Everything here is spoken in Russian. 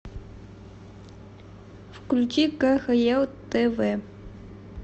включи кхл тв